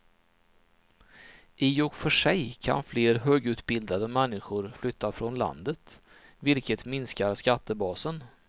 I och för sig kan fler högutbildade människor flytta från landet, vilket minskar skattebasen.